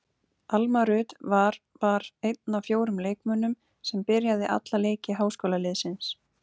Alma Rut var var einn af fjórum leikmönnum sem byrjaði alla leiki háskólaliðsins.